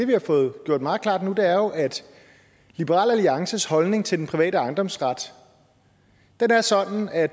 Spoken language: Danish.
vi har fået gjort meget klart nu er jo at liberal alliances holdning til den private ejendomsret er sådan at